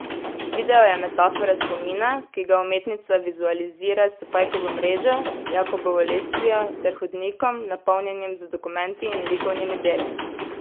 Video je metafora spomina, ki ga umetnica vizualizira s pajkovo mrežo, Jakobovo lestvijo ter hodnikom, napolnjenim z dokumenti in likovnimi deli.